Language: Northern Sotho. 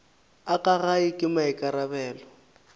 a ka gae ke maikarabelo